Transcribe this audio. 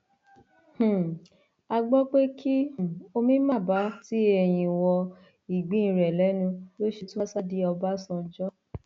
um a gbọ pé kí um omi má bàa tí eyín wọ ìgbín rẹ lẹnu ló ṣe tún wáá sá di ọbadànjọ